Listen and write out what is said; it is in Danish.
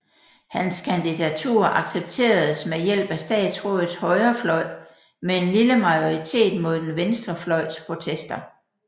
Hans kandidatur accepteredes med hjælp af statsrådets højre fløj med en lille majoritet mod den venstre fløjs protester